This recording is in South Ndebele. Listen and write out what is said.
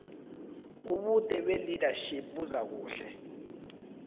ubude belearnership buzakuhluka